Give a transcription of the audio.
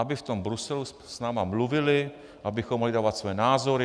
Aby v tom Bruselu s námi mluvili, abychom mohli dávat své názory.